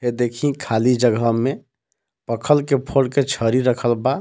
देखीं खाली जगह में पखल फोड़ के छरी रखल बा।